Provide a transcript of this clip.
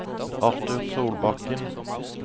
Arthur Solbakken